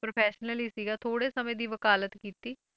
Professionally ਸੀਗਾ ਥੋੜ੍ਹੇ ਸਮੇਂ ਦੀ ਵਕਾਲਤ ਕੀਤੀ